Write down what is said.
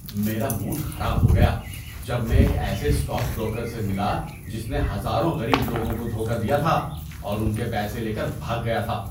میرا موڈ خراب ہو گیا جب میں ایک ایسے اسٹاک بروکر سے ملا جس نے ہزاروں غریب لوگوں کو دھوکہ دیا تھا اور ان کے پیسے لے کر بھاگ گیا تھا۔